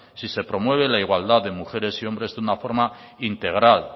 si se promueve la igualdad de mujeres y hombres de una forma integral